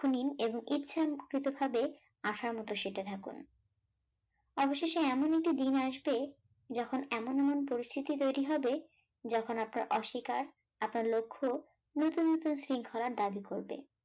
আশার মোট সেটে থাকুন, অবশেষে এমন একটি দিন আসবে যখন এমন এমন পরিস্থিতি তৈরি হবে যখন আপনার অস্বীকার, আপনার লক্ষ্য নুতুন নুতুন শৃঙ্খলার দাবী করবে